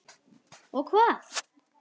Og hvað?